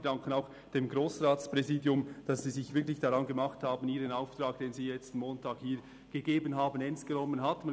Wir danken auch dem Grossratspräsidium, dass Sie Ihren Auftrag, den Sie letzten Montag hier erhalten haben, ernst genommen und sich wirklich daran gemacht haben.